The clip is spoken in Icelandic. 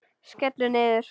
Skellur niður.